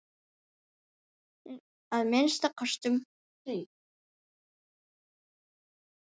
Að minnsta kosti um hríð.